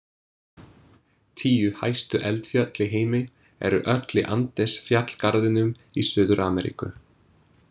Tíu hæstu eldfjöll í heimi eru öll í Andesfjallgarðinum í Suður-Ameríku.